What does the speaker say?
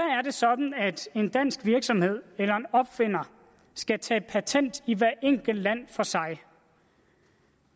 er det sådan at en dansk virksomhed eller en opfinder skal tage patent i hvert enkelt land for sig